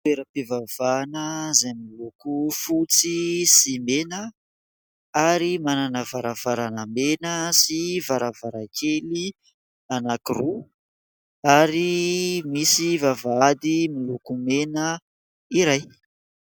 Toeram-pivavahana izay miloko fotsy sy mena ary manana varavarana mena sy varavarankely anankiroa, ary misy vavahady miloko mena iray.